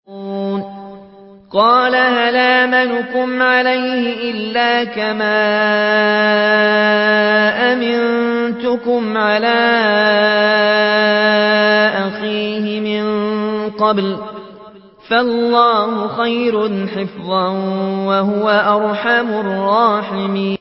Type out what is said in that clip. قَالَ هَلْ آمَنُكُمْ عَلَيْهِ إِلَّا كَمَا أَمِنتُكُمْ عَلَىٰ أَخِيهِ مِن قَبْلُ ۖ فَاللَّهُ خَيْرٌ حَافِظًا ۖ وَهُوَ أَرْحَمُ الرَّاحِمِينَ